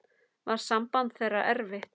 Var samband þeirra erfitt.